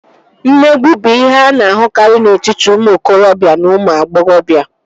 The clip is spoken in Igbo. Mmegbu bụ ihe a na-ahụkarị n'etiti ụmụ okorobịa na ụmụ agbọghọbịa